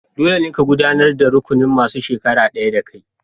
Dolle, ka yi gudanar da rukunin masun shekara daya da kai!